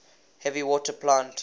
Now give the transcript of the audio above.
heavy water plant